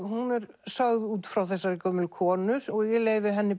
hún er sögð út frá þessari gömlu konu og ég leyfi henni